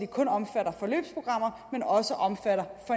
kun omfatter forløbsprogrammer men også omfatter